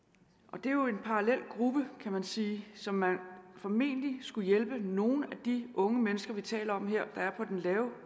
det er jo en parallel gruppe kan man sige som man formentlig skulle hjælpe altså nogle af de unge mennesker vi taler om her der er på den lave